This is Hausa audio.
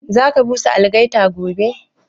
Za ka busa algaita gobe?